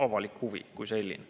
Avalik huvi kui selline.